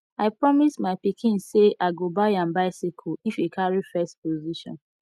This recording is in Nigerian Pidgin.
i promise my pikin say i go buy am bicycle if he carry first position